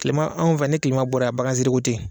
Tilema, anw fɛ ni tilema bɔra yan, bagan siri ko tɛ yen.